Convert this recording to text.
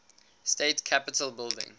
state capitol building